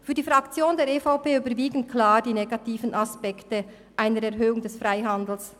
Für die Fraktion der EVP überwiegen klar die negativen Aspekte einer Erhöhung des Freihandels.